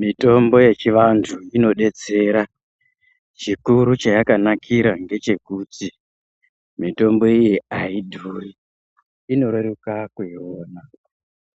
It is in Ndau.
Mitombo yechiantu inobetsera chikuru chayakanakira ndechekuti mitombo iyi haidhuri. Inoreruka kuiona